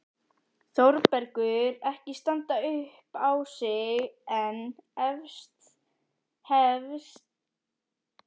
Þórbergur ekki standa upp á sig en hefst óðara handa.